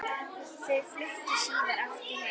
Þau fluttu síðar aftur heim.